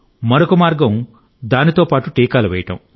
మరొక మార్గం దాంతో పాటు టీకాలు వేయడం